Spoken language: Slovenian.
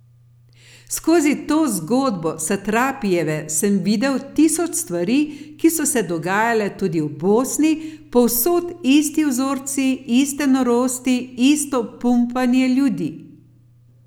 Skozi to zgodbo Satrapijeve sem videl tisoč stvari, ki so se dogajale tudi v Bosni, povsod isti vzorci, iste norosti, isto pumpanje ljudi.